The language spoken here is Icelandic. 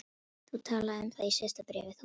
Þú talaðir um það í síðasta bréfi, þú manst.